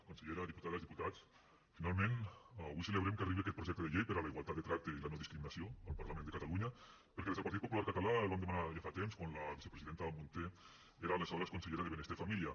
consellera diputades diputats finalment avui celebrem que arribi aquest projecte de llei per a la igualtat de tracte i la no discriminació al parlament de catalunya perquè des del partit popular català el vam demanar ja fa temps quan la vicepresidenta munté era aleshores consellera de benestar i família